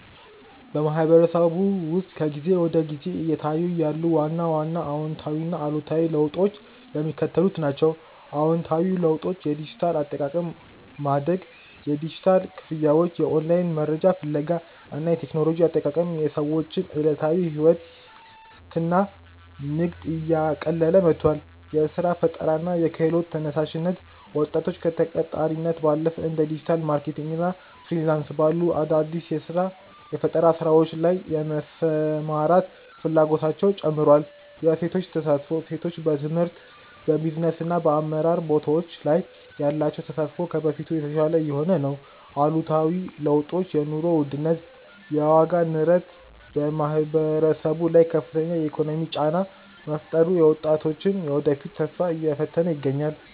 በማህበረሰቡ ውስጥ ከጊዜ ወደ ጊዜ እየታዩ ያሉ ዋና ዋና አዎንታዊና አሉታዊ ለውጦች የሚከተሉት ናቸው፦ አዎንታዊ ለውጦች የዲጂታል አጠቃቀም ማደግ፦ የዲጂታል ክፍያዎች፣ የኦንላይን መረጃ ፍለጋ እና የቴክኖሎጂ አጠቃቀም የሰዎችን ዕለታዊ ሕይወትና ንግድ እያቀለለ መጥቷል። የሥራ ፈጠራና የክህሎት ተነሳሽነት፦ ወጣቶች ከተቀጣሪነት ባለፈ እንደ ዲጂታል ማርኬቲንግ እና ፍሪላንስ ባሉ አዳዲስ የፈጠራ ሥራዎች ላይ የመሰማራት ፍላጎታቸው ጨምሯል። የሴቶች ተሳትፎ፦ ሴቶች በትምህርት፣ በቢዝነስና በአመራር ቦታዎች ላይ ያላቸው ተሳትፎ ከበፊቱ የተሻለ እየሆነ ነው። አሉታዊ ለውጦች የኑሮ ውድነት፦ የዋጋ ንረት በማህበረሰቡ ላይ ከፍተኛ የኢኮኖሚ ጫና በመፍጠሩ የወጣቶችን የወደፊት ተስፋ እየፈተነ ይገኛል።